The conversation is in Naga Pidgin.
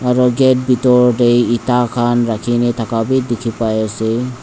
aru gate bithor te eta khan rakhine thake be dikhi pai ase.